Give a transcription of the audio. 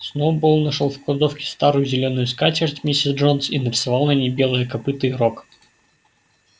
сноуболл нашёл в кладовке старую зелёную скатерть миссис джонс и нарисовал на ней белое копыто и рог